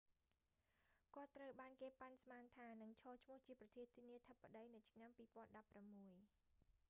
គាត់ត្រូវបានគេប៉ាន់ស្មានថា នឹងឈរឈ្មោះជាប្រធានាធិបតីនៅឆ្នាំ 2016